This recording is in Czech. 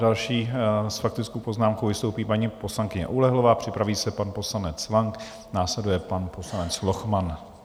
Další s faktickou poznámkou vystoupí paní poslankyně Oulehlová, připraví se pan poslanec Lang, následuje pan poslanec Lochman.